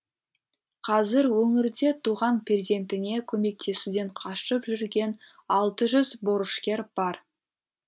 қазір өңірде туған перзентіне көмектесуден қашып жүрген алты жүз борышкер бар